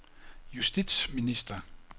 justitsminister